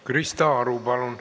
Krista Aru, palun!